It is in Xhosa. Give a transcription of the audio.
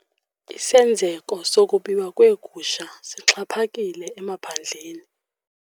Isenzeko sokubiwa kweegusha sixhaphakile emaphandleni.